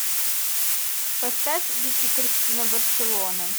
поставь вики кристина барселона